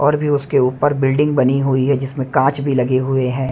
और भी उसके ऊपर बिल्डिंग बनी हुई है जिसमें कांच भी लगे हुए हैं।